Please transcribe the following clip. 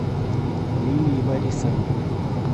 лилии борисовне